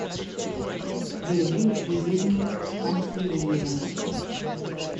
вере юрьевне пантелеевой